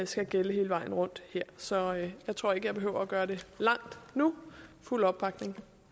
skal gælde hele vejen rundt her så jeg tror ikke jeg behøver at gøre det langt nu fuld opbakning